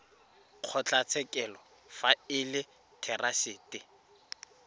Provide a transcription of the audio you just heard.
kgotlatshekelo fa e le therasete